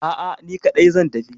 A'a, ni kaɗai zan tafi.